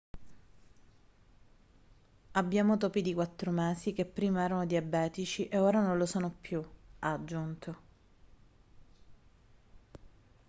abbiamo topi di quattro mesi che prima erano diabetici e ora non lo sono più ha aggiunto